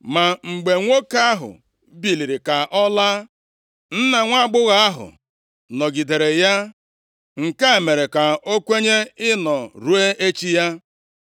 Ma mgbe nwoke ahụ biliri ka ọ laa, nna nwaagbọghọ ahụ, nọgidere ya, nke a mere ka o kwenye ịnọ ruo echi ya.